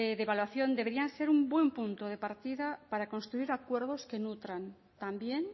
deberían ser un buen punto de partida para construir acuerdos que nutran también